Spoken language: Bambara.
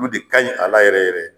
Olu de kaɲi a la yɛrɛ yɛrɛ.